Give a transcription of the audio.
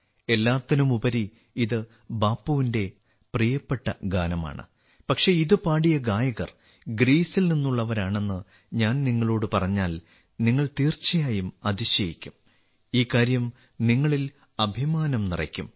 എല്ലാത്തിനുമുപരി ഇത് ബാപ്പുവിന്റെ പ്രിയപ്പെട്ട ഗാനമാണ് പക്ഷേ ഇത് പാടിയ ഗായകർ ഗ്രീസിൽ നിന്നുള്ളവരാണെന്ന് ഞാൻ നിങ്ങളോട് പറഞ്ഞാൽ നിങ്ങൾ തീർച്ചയായും അതിശയിക്കും ഈ കാര്യം നിങ്ങളിൽ അഭിമാനം നിറയ്ക്കും